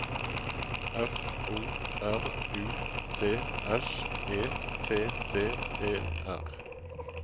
F O R U T S E T T E R